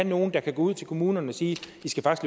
nogle der kan gå ud til kommunerne og sige